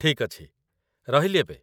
ଠିକ୍ ଅଛି। ରହିଲି ଏବେ !